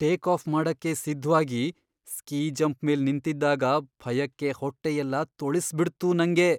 Take off ಮಾಡಕ್ಕೆ ಸಿದ್ಧ್ವಾಗಿ ski jump ಮೇಲ್ ನಿಂತಿದ್ದಾಗ ಭಯಕ್ಕೆ ಹೊಟ್ಟೆಯೆಲ್ಲ ತೊಳ್ಸ್ಬಿಡ್ತು ನಂಗೆ.